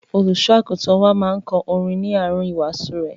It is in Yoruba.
Olùṣọ́-àgùntàn wá máa ń kọ orin ní àárín ìwàásù rẹ̀.